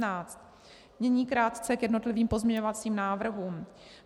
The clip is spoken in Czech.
Nyní krátce k jednotlivým pozměňovacím návrhům.